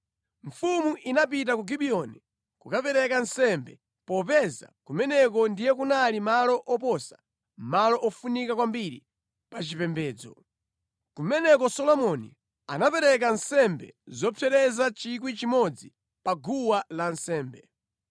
Mfumu inapita ku Gibiyoni kukapereka nsembe popeza kumeneko ndiye kunali malo oposa malo ofunika kwambiri pachipembedzo. Kumeneko Solomoni anapereka nsembe zopsereza 1,000 pa guwa lansembe.